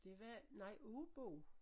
Det var nej Aabo